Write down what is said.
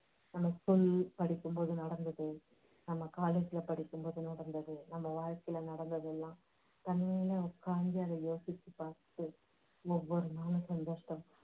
நம்ம school படிக்கும் போது நடந்தது நம்ம college ல படிக்கும் போது நடந்தது நம்ம வாழ்க்கையில நடந்ததெல்லாம் தனியா உக்காந்து அதை யோசிச்சு பார்த்து ஒவ்வொரு நாளும் சந்தோஷத்தை~